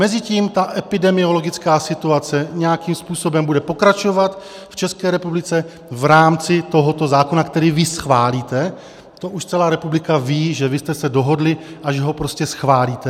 Mezitím ta epidemiologická situace nějakým způsobem bude pokračovat v České republice v rámci tohoto zákona, který vy schválíte, to už celá republika ví, že vy jste se dohodli a že ho prostě schválíte.